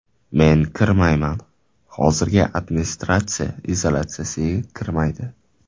Men kirmayman, hozirgi administratsiya izolyatsiyaga kirmaydi.